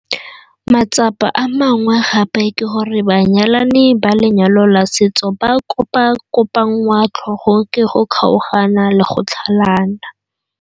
Matsapa a mangwe gape ke gore banyalani ba lenyalo la setso ba kopakopanngwa tlhogo ke go kgaogana le go tlhalana.